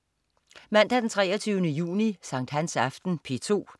Mandag den 23. juni. Sankthansaften - P2: